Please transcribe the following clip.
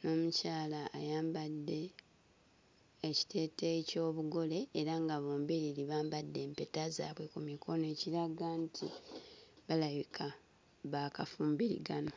n'omukyala ayambadde ekiteeteeyi ky'obugole era nga bombiriri bambadde empeta zaabwe ku mikono ekiraga nti balabika baakafumbiriganwa.